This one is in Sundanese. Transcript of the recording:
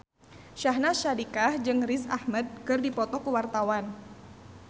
Syahnaz Sadiqah jeung Riz Ahmed keur dipoto ku wartawan